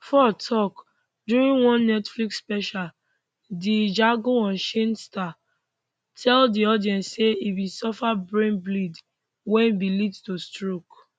for tok during one netflix special di django unchained star tell di audience say e bin suffer brain bleed wey bin lead to stroke